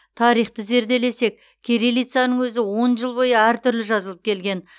тарихты зерделесек кириллицаның өзі он жыл бойы әртүрлі жазылып келген